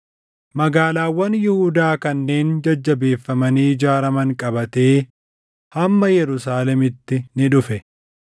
magaalaawwan Yihuudaa kanneen jajjabeeffamanii ijaaraman qabatee hamma Yerusaalemiitti ni dhufe.